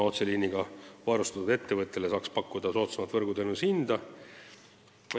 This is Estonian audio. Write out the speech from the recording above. Otseliiniga varustatud ettevõttele saaks pakkuda soodsamat võrguteenuse hinda.